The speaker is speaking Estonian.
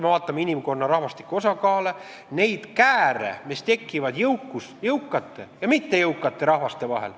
Vaatame inimkonna rahvastiku osakaale, neid kääre, mis tekivad jõukate ja mittejõukate rahvaste vahel.